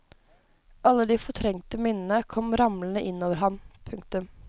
Alle de fortrengte minnene kom ramlende inn over han. punktum